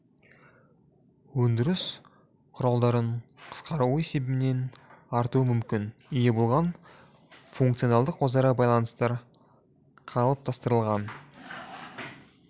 өндіріс құралдарын қысқаруы есебінен артуы мүмкін ие болған функционалдық өзара байланыстар қалыптастырылған